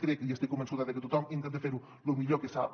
crec i estic convençuda de que tothom intenta fer·ho lo millor que sap